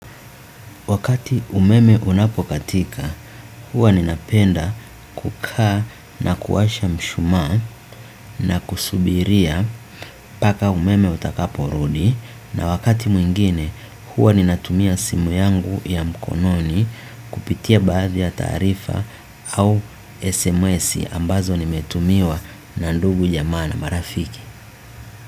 Wakati umeme unapokatika, huwa ninapenda, kukaa na kuwasha mshumaa na kusubiria paka umeme utakaporudi na wakati mwingine, huwa ninatumia simu yangu ya mkononi, kupitia baadhi ya taarifa, au SMSi ambazo nimetumiwa na ndugu, jamaa na marafiki.